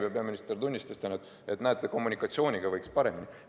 Peaminister tunnistas ka, et näete, kommunikatsiooniga võiks olla paremini.